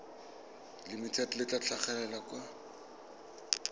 limited le tla tlhagelela kwa